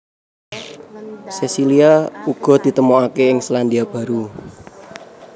Sesilia uga ditemokaké ing Selandia Baru